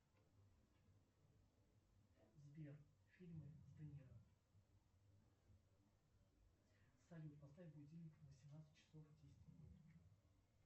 сбер фильмы с де ниро салют поставь будильник на семнадцать часов десять минут